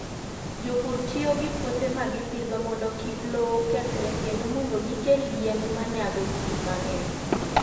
Jopur tiyo gi puothe ma gipidho mondo kik lowo kethre kendo mondo gikel yien ma nyago gik mang'eny.